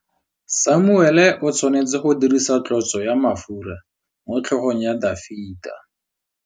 Samuele o tshwanetse go dirisa tlotsô ya mafura motlhôgong ya Dafita.